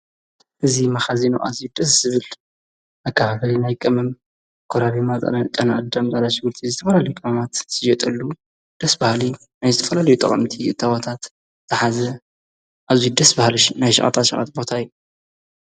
እዚ መኸዚን ኣዝዩ ደስ ዝብል መከፋፈሊ ናይ ቀመም ኰራሪማ ጨና ኣዳም ጻዕዳ ሽንጉርቲ ዝተፈላለዩ ቅመምማት ዝሽወጠሉ ደስ ብሃሊ ናይ ዝተፈላልዩ ጠቐምቲ እተወታት ዝሓዘ ኣዝዩ ደስ ብሃሊ ናይ ሸቐጣ ሸቐጥ ቦታ እዩ።